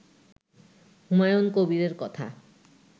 হুমায়ুন কবিরের কথা